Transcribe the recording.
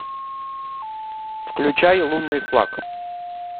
включай лунный флаг